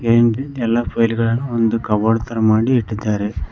ಎಲ್ಲ ಪ್ಲೖಟ್ ಗಳನ್ನು ಒಂದು ಕಬೋರ್ಡ್ ತರ ಮಾಡಿ ಇಟ್ಟಿದ್ದಾರೆ.